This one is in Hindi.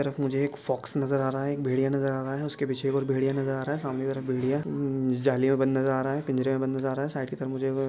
तरफ मुझे एक फॉक्स नज़र आ रहा है एक भेड़िया नज़र आ रहा है उसके एक और भेड़िया नज़र आ रहा है सामने तरफ बिलिया उम्म जलिया बंद नज़र आ रहा है पिंजरे में बंद नज़र आ रहा है साइड की तरफ मुझे --